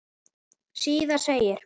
Síðar segir